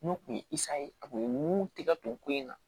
N'o tun ye ye a kun ye mun tigɛ don ko in na